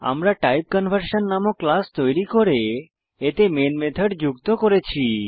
আমরা টাইপকনভারশন নামক ক্লাস তৈরি করে এতে মেন মেথড যুক্ত করেছি